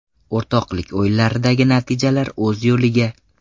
O‘rtoqlik o‘yinlaridagi natijalar o‘z yo‘liga.